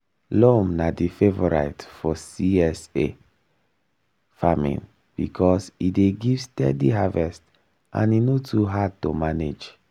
loam na di favorite for csa farming because e dey give steady harvest and e no too hard to manage.